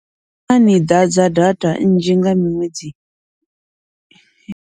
Naa ni ḓadza data nnzhi nga minwedzi.